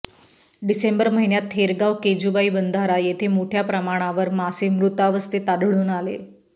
डिसेंबर महिन्यात थेरगाव केजूबाई बंधारा येथे मोठ्या प्रमाणावर मासे मृतावस्थेत आढळून आले